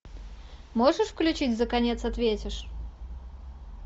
можешь включить за конец ответишь